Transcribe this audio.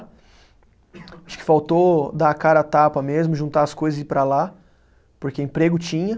Acho que faltou dar a cara a tapa mesmo, juntar as coisas e ir para lá, porque emprego tinha.